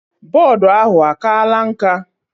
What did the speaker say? Board ahụ akala nka?